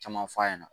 Caman f'a ɲɛna